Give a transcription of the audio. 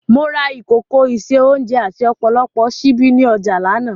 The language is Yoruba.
Mo ra ìkòkò ìse-oúnjẹ àti ọ̀pọ̀lọpọ̀ ṣíbí ní ọjà lánàá